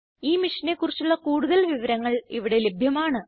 ഈ മിഷനെ കുറിച്ചുള്ള കുടുതൽ വിവരങ്ങൾ ഇവിടെ ലഭ്യമാണ്